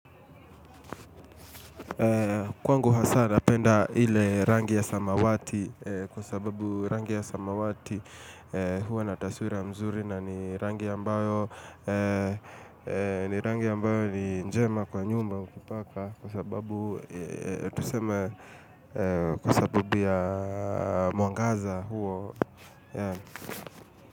Kwangu hasa napenda ile rangi ya samawati kwa sababu rangi ya samawati huwa nataswira mzuri na ni rangi ambayo rangi ambayo ni njema kwa nyumba kupaka kwa sababu tuseme kwa sababu ya mwangaza huo.